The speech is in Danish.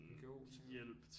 NGO tænker du